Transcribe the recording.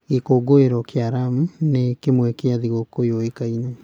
Gĩkũũngũĩro kĩa Lamu nĩ kĩmwe kĩa thigũkũ yũĩkaine.